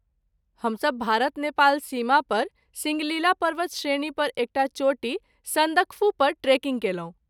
हम सब भारत नेपाल सीमापर सिङ्गलिला पर्वतश्रेणी पर एकटा चोटी सन्दकफू पर ट्रेकिंग कयलहुँ।